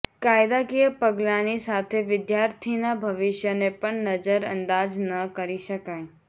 કાયદાકીય પગલાની સાથે વિદ્યાર્થીનાં ભવિષ્યને પણ નજરઅંદાજ ન કરી શકાય